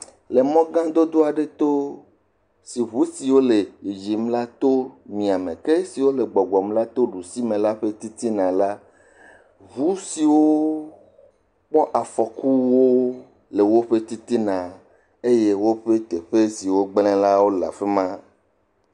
Le mɔ gã dodo aɖe to, si ŋu siwo le yiyim la to mia me ke siwo gbɔgbɔm la to ɖusi me la ƒe titina la, ŋu siwo kpɔ afɔkuwo le woƒe titina eye woƒe teƒe si wogblẽ la wole afi ma.